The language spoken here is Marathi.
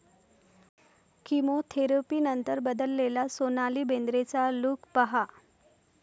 किमोथेरपीनंतर बदललेला सोनाली बेंद्रेचा लूक पहा